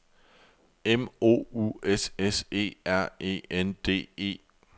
M O U S S E R E N D E